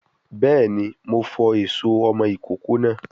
Béèni, Mo fọ èso ọmọ ìkókó náà